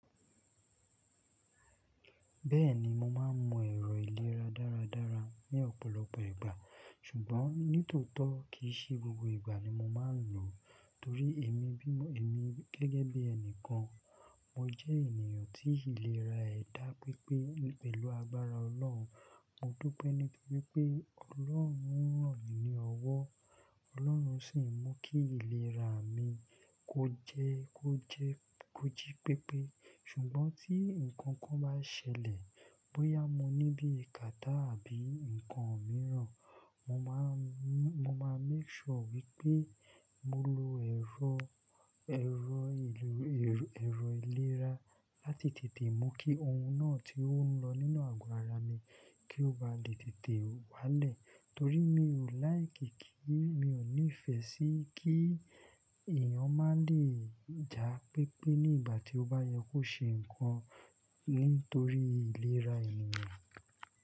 Bẹ́ẹ̀ni, mo máa ń mọ ẹ̀rọ ìlera dáradára ní ọ̀pọ̀lọpọ̀ ìgbà, ṣùgbọ́n nítòótọ́ kì í ṣe gbogbo ìgbà ni mo máa ń lò ó torí èmi gẹ́gẹ́ bí ẹni kan, mo jẹ́ ènìyàn tí ìlera ẹ̀ dá pípé pẹ̀lú agbára Ọlọ́run. Mo dúpẹ́ ní pé pé Ọlọ́run ranmi ní ọwọ́, Ọlọ́run sì ń mú kí ìlera mi ó jẹ́ kójí pípé. Ṣùgbọ́n tí ǹkan kan bá ṣẹlẹ̀, bóyá mo ní bí katá àbí nǹkan mìíràn, mo máa make sure wípé mo lo ero ẹ̀rọ ìlera láti tètè mú kí ohun náà tí ó ń lọ nínú àgọ́ ara mi kí ó ba lè tètè wálẹ̀. Torí mi ò like ki kí, mi ò nífẹ̀ẹ́ sí kí èèyàn má lè ja pípé ní ìgbà tí ó bá yẹ kó ṣe nǹkan nítorí ìlera ènìyàn.